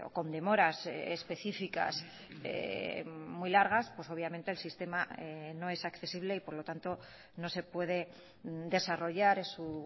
con demoras específicas muy largas pues obviamente el sistema no es accesible y por lo tanto no se puede desarrollar en su